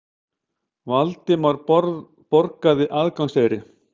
Valdimar borgaði aðgangseyri.